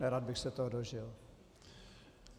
Nerad bych se toho dožil.